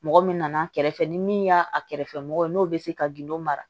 Mɔgɔ min nana kɛrɛfɛ ni min y'a a kɛrɛfɛ mɔgɔ ye n'o bɛ se ka gindo mara